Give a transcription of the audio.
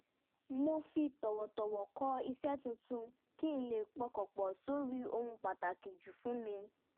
mo fi tọ̀wọ̀tọ̀wọ̀ kọ̀ iṣẹ́ tuntun kí n lè pọkàn pọ̀ sórí ohun pàtàkì jù fún mi